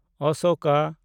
Ashoka